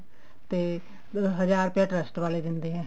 ਤੇ ਹਜ਼ਾਰ ਰੁਪਿਆ trust ਵਾਲੇ ਦਿੰਦੇ ਆ